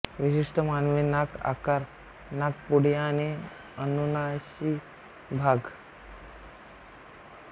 विशिष्ट मानवी नाक आकार नाकपुडी आणि अनुनासिक भाग